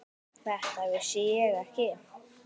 Þetta vissi ég ekki.